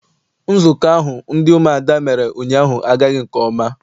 Nzukọ ahụ ndị umuada mere ụnyaahụ agaghị nke ọma.